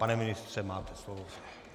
Pane ministře, máte slovo.